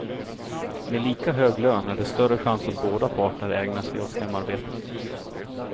Med lika hög lön är det större chans att båda parter ägnar sig åt hemarbetet.